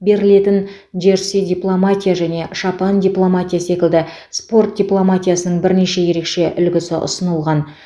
берілетін джерси дипломатия және шапан дипломатия секілді спорт дипломатиясының бірнеше ерекше үлгісі ұсынылған